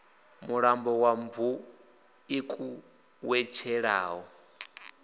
mulambo wa mvuḓi ku wetshelaho